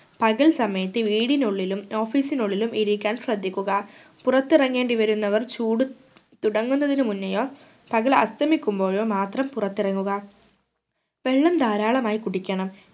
പകൽ സമയത്തു വീടിനുള്ളിലും office നുള്ളിലും ഇരിക്കാൻ ശ്രദ്ധിക്കുക പുറത്തിറങ്ങേണ്ടി വരുന്നവർ ചൂട് തുടങ്ങുന്നതിന് മുന്നെയോ പകൽ അസ്തമിക്കുമ്പോഴോ മാത്രം പുറത്തിറങ്ങുക വെള്ളം ധാരാളമായി കുടിക്കണം